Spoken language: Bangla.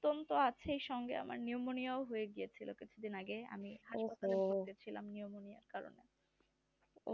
আমার সঙ্গে আমার pneumonia হয়ে গেছিলো কিছু দিন আগে আমি তো আমি